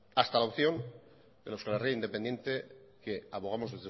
hasta la opción del a euskal herria independiente que abogamos